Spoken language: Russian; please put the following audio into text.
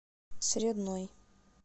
средной